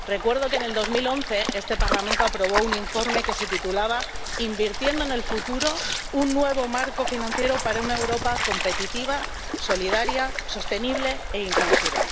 Recuerdo que en 2011 este Parlamento aprobó un informe que se titulaba Invertir en el futuro un nuevo marco financiero para una Europa competitiva, solidaria, sostenible e inclusiva.